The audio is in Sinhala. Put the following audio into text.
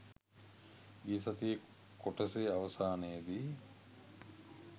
ගිය සතියේ කොටසේ අවසානයේදී